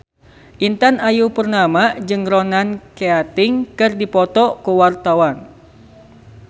Intan Ayu Purnama jeung Ronan Keating keur dipoto ku wartawan